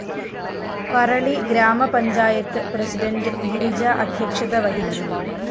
പറളി ഗ്രാമപഞ്ചായത്ത് പ്രസിഡന്റ് ഗിരിജ അധ്യക്ഷത വഹിച്ചു